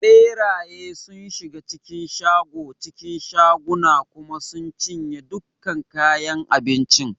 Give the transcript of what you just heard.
Ɓeraye sun shiga cikin shago cikin shaguna kuma sun cinye dukkan kayan abincin.